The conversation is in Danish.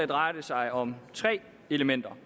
drejer det sig om tre elementer